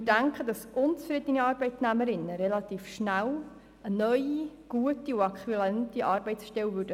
Wir denken, dass unzufriedene Arbeitnehmerinnen relativ rasch eine neue äquivalente Arbeitsstelle finden würden.